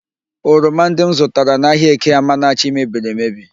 Oroma ndị m zụtara n'ahịa Eke Amanachi mebiri emebi